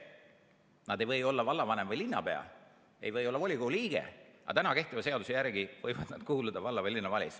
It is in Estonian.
Nad ei või olla vallavanemad või linnapead, ei või olla ka volikogu liikmed, aga kehtiva seaduse järgi võivad nad kuuluda valla- või linnavalitsusse.